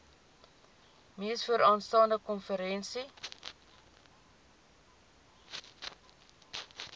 mees vooraanstaande konferensie